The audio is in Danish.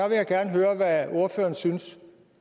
vil gerne høre hvad ordføreren synes